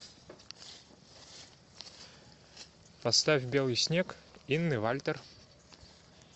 поставь белый снег инны вальтер